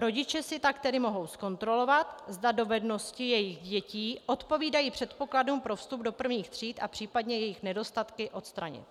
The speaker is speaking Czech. Rodiče si tak tedy mohou zkontrolovat, zda dovednosti jejich dětí odpovídají předpokladům pro vstup do prvních tříd, a případně jejich nedostatky odstranit.